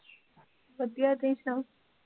ਵਧੀਆ ਤੁਸੀਂ ਸੁਣਾਓ